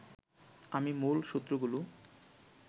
আমি মূল সূত্রগুলো